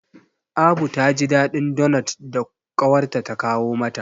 Abu ta ji daɗin donot da ƙawarta ta kawo mata.